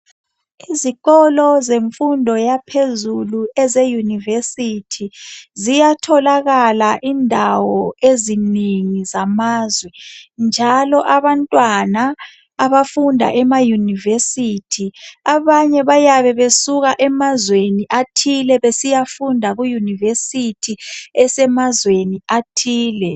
Izikolo zemfundo yaphezulu eze university ziyatholakala indawo ezinengi zamazwe njalo abantwana abafunda ema university abanye bayabe besuka emazweni athile besiyafunda ku university esemazweni athile